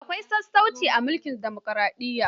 Akwai sassauci a mulkin dimokaraɗiyya.